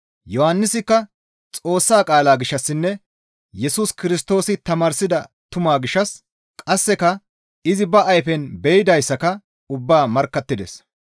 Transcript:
Yohannisikka Xoossa qaalaa gishshassinne Yesus Kirstoosi tamaarsida tumaa gishshas qasseka izi ba ayfen be7idayssaka ubbaa markkattides.